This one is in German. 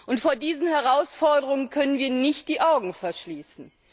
Und vor diesen Herausforderungen können wir nicht die Augen verschließen.